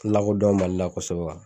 tɛ lakodɔn Mali la kosɛbɛ